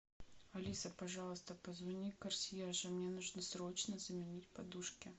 алиса пожалуйста позвони консьержу мне нужно срочно заменить подушки